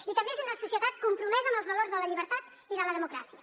i també és una societat compromesa amb els valors de la llibertat i de la democràcia